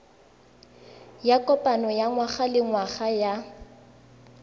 ya kopano ya ngwagalengwaga ya